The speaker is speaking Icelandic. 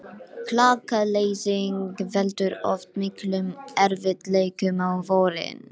Alltaf! hrópaði hann og dansaði í kringum hana.